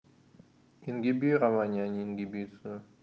ингибирование а не ингибитция